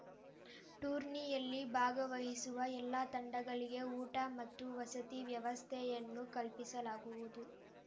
ಟೂರ್ನಿಯಲ್ಲಿ ಭಾಗವಹಿಸುವ ಎಲ್ಲ ತಂಡಗಳಿಗೆ ಊಟ ಮತ್ತು ವಸತಿ ವ್ಯವಸ್ಥೆಯನ್ನು ಕಲ್ಪಿಸಲಾಗುವುದು